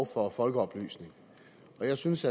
for folkeoplysning og jeg synes